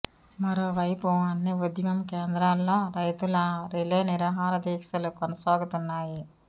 మరోవైపు అన్ని ఉద్యమం కేంద్రాల్లో రైతుల రిలే నిరాహార దీక్షలు కొనసాగుతున్నాయి